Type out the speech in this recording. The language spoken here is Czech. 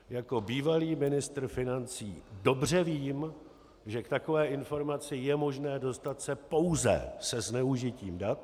Jako bývalý ministr financí dobře vím, že k takové informaci je možné se dostat pouze se zneužitím dat.